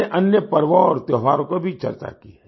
हमने अन्य पर्वों और त्योहारों पर भी चर्चा की